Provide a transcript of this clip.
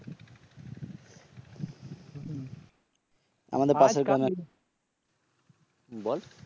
বল